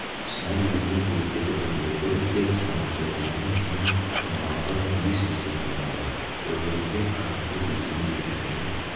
шынар өзіне керекті бірдемелерді іздеп сандықты түбіне дейін тырналаса да еш нәрсе таба алмады өмірімде қатынсыз өтем деп жүрген бе